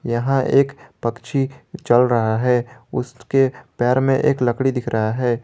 यहां एक पक्षी चल रहा है उसके पैर में एक लकड़ी दिख रहा है।